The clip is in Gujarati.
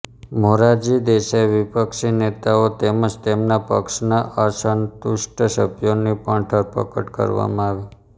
મોરારજી દેસાઈ વિપક્ષી નેતાઓ તેમજ તેમના પક્ષના અસંતુષ્ટ સભ્યોની પણ ધરપકડ કરવામાં આવી